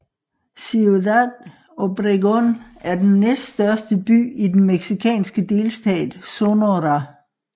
Ciudad Obregón er den næststørste by i den mexikanske delstat Sonora